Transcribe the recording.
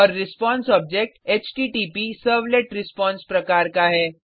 और response object HTTP servlet response प्रकार का है